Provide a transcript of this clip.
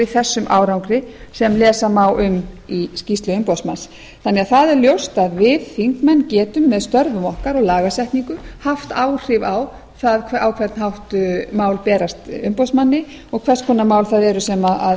þessum árangri sem lesa má um í skýrslu umboðsmanns þannig að það er ljóst að við þingmenn getum með störfum okkar og lagasetningu haft áhrif á það á hvern hátt mál berast umboðsmanni og hvers konar mál það eru sem